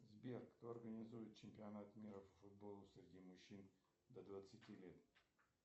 сбер кто организует чемпионат мира по футболу среди мужчин до двадцати лет